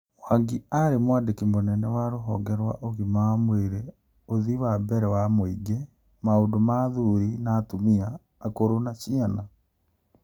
Mwangi ari mwandiki mũnene wa rũhonge rwa ũgima wa mwĩrĩ, ũthii wa na mbere wa mũingĩ, maũndũ ma athuri na atumia , akũrũ na Ciana.